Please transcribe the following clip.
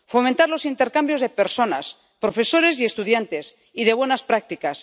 Fomentar los intercambios de personas, profesores y estudiantes, y de buenas prácticas.